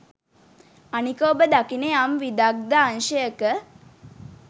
අනික ඔබ දකින යම් විදග්ධ අංශයක